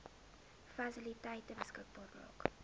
fasiliteite beskikbaar maak